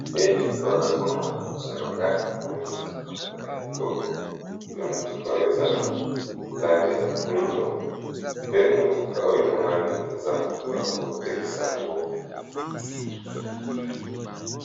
elili oyo azomona liboso na nga enamoni motuka moko ya kitoko pe motuka oyo eza na lange ya mwindo pe motuka oyo emonani eza motuka bazotekisa yango